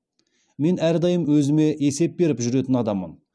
мен әрдайым өзіме есеп беріп жүретін адаммын